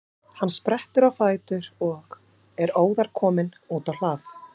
Hann sprettur á fætur og er óðar kominn út á hlað.